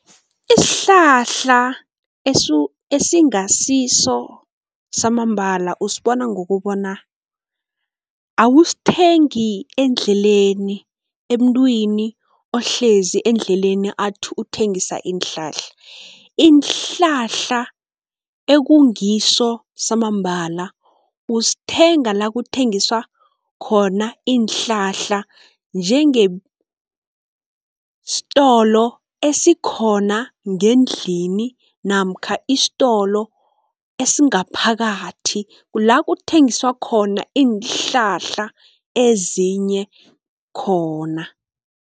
Isihlahla esingasiso samambala usibona ngokubona awusithengi endleleni, emntwini ohlezi endleleni athi uthengisa iinhlahla. Iinhlahla ekungiso samambala usithenga la kuthengiswa khona iinhlahla, njengestolo esikhona ngendlini namkha istolo esingaphakathi, kula kuthengiswa khona iinhlahla ezinye khona.